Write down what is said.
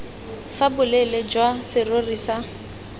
fa boleele jwa serori sa